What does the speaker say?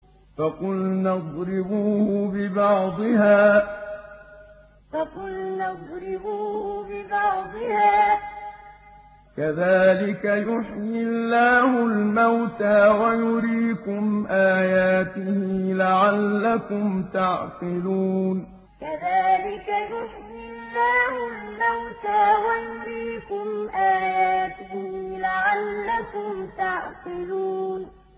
فَقُلْنَا اضْرِبُوهُ بِبَعْضِهَا ۚ كَذَٰلِكَ يُحْيِي اللَّهُ الْمَوْتَىٰ وَيُرِيكُمْ آيَاتِهِ لَعَلَّكُمْ تَعْقِلُونَ فَقُلْنَا اضْرِبُوهُ بِبَعْضِهَا ۚ كَذَٰلِكَ يُحْيِي اللَّهُ الْمَوْتَىٰ وَيُرِيكُمْ آيَاتِهِ لَعَلَّكُمْ تَعْقِلُونَ